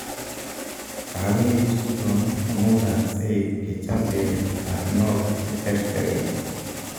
Kaweek chutok komukaksei kechapee karnok cheterteren